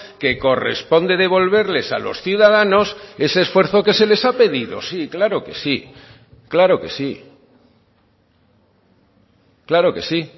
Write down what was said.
que corresponde devolverles a los ciudadanos ese esfuerzo que se les ha pedido sí claro que sí claro que sí claro que sí